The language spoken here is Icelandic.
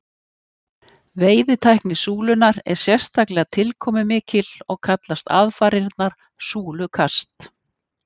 Veiðitækni súlunnar er sérstaklega tilkomumikil og kallast aðfarirnar súlukast.